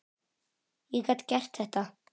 Ég gat gert þetta.